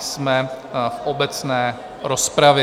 Jsme v obecné rozpravě.